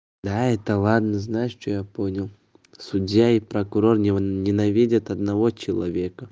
да это ладно знаешь что я понял судья и прокурор ненавидят одного человека